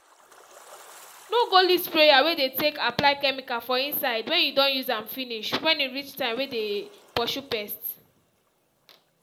no go leave sprayer wey dey take apply chemical for inside wen you don use am finish wen e reach time wey dey purshu pest